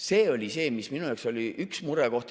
See oli see, mis minu jaoks oli üks murekoht.